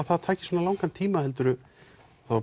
það tæki svona langan tíma helduru